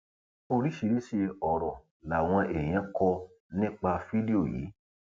oríṣiríṣiì ọrọ làwọn èèyàn kọ nípa fídíò yìí